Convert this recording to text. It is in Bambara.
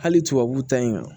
Hali tubabuw ta in